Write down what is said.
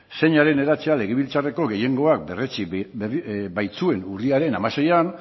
zeina den hedatzea legebiltzarreko gehiengoak berretsi baitzuen urriaren hamaseian